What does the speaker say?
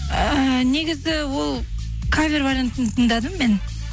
ыыы негізі ол кавер вариантын тыңдадым мен